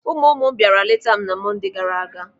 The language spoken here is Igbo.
Ụmụ ụmụ m bịara leeta m na Monde gaara aga.